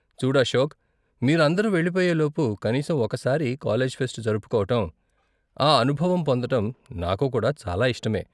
చూడు అశోక్, మీరు అందరూ వెళ్ళిపోయే లోపు కనీసం ఒక సారి కాలేజీ ఫెస్ట్ జరుపుకోవటం, ఆ అనుభవం పొందటం నాకు కూడా చాలా ఇష్టమే.